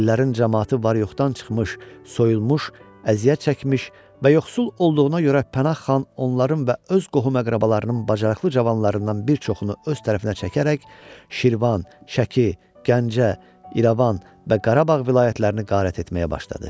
Ellərin camaatı var-yoxdan çıxmış, soyulmuş, əziyyət çəkmiş və yoxsul olduğuna görə Pənah xan onların və öz qohum-əqrabalarının bacarıqlı cavanlarından bir çoxunu öz tərəfinə çəkərək Şirvan, Şəki, Gəncə, İrəvan və Qarabağ vilayətlərini qarat etməyə başladı.